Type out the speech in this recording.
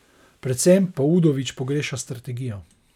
Predvsem pa Udovič pogreša strategijo.